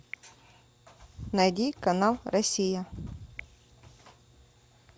найди канал россия